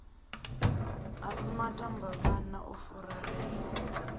a si matambavhana u furalela